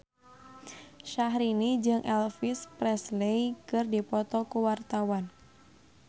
Syahrini jeung Elvis Presley keur dipoto ku wartawan